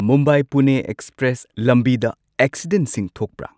Mumbai Pune express ꯂꯝꯕꯤꯗ ꯑꯦꯛꯁꯤꯗꯦꯟꯠꯁꯤ ꯊꯣꯛꯄ꯭ꯔꯥ